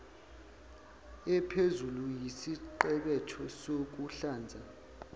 ephezulu yesiqebetho sokuhlanza